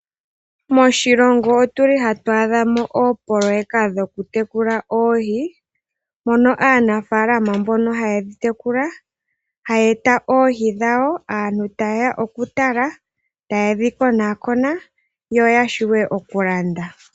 Moshilongo otu li hatu adha mo oopololeka dhoku tekula oohi, moka aanafaalama mboka haye dhi tekula haya eta oohi dhawo, aantu tayeya okutala taye dhi konakona yo yashiwe okulanda.